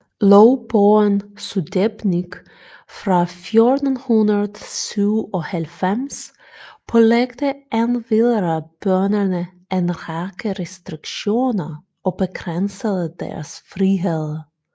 Lovbogen Sudebnik fra 1497 pålagde endvidere bønderne en række restriktioner og begrænsede deres friheder